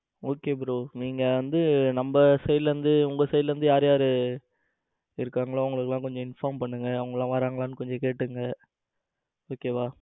Okay bro நீங்க வந்து நம்ம side ல இருந்து உங்க side ல இருந்து யார் யார் இருக்காங்களோ அவங்களுக்கெல்லாம் கொஞ்சம் inform பண்ணுங்க. அவங்க எல்லாம் வராங்களானு கொஞ்சம் கேட்டுக்கோங்க okay வா